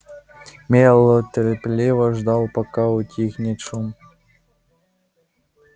мэллоу терпеливо ждал пока утихнет шум